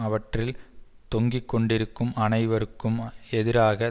அவற்றில் தொங்கி கொண்டிருக்கும் அனைவருக்கும் எதிராக